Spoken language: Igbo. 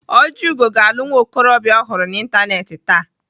Ojiugo ga-alụ nwa okorobịa ọ hụrụ na Facebook taa.